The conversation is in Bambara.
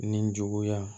Nin juguya